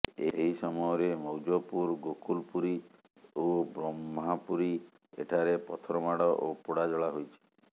ଏହି ସମୟରେ ମୌଜପୁର ଗୋକୁଲପୁରୀ ଓ ବ୍ରହ୍ମାପୁରୀ ଠାରେ ପଥର ମାଡ଼ ଓ ପୋଡ଼ାଜଳା ହୋଇଛି